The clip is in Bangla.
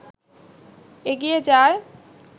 এগিয়ে যায়